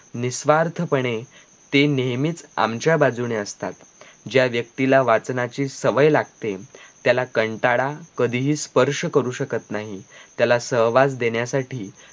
निस्वार्थपणे ते नेहमीच आमच्या बाजूने असतात ज्या व्यक्तीला वाचनाची सवय लागते त्याला कंटाळा कधीही स्पर्श करू शकत नाही त्याला सहवास देण्यासाठी